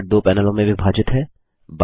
Thunderbird दो पैनलों में विभाजित है